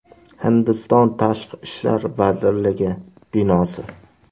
Hindiston tashqi ishlar vazirligi binosi.